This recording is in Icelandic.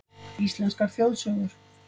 Íslenskar þjóðsögur.